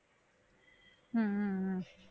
ஹம் உம் உம்